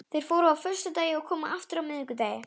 Þeir fóru á föstudegi og komu aftur á miðvikudegi.